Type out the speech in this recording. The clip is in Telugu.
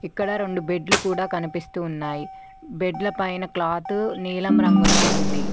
ఇక్కడ రెండు బెడ్లు కూడా కనిపిస్తూ ఉన్నాయ్ బెడ్ల పైన క్లాతు నీలం రంగులో ఉంది.